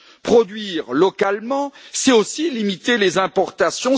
Produire localement, c'est aussi limiter les importations.